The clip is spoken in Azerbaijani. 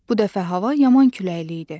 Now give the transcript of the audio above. Bu dəfə hava yaman küləkli idi.